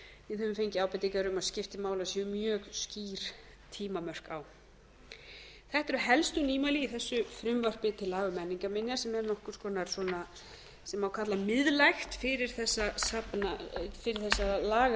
við höfum fengið ábendingar um að skipti máli að séu mjög skýr tímamörk á þetta eru helstu nýmæli í þessu frumvarpi til laga um menningarminjar sem er nokkurs konar að ég má kalla miðlægt fyrir þessa lagafernu í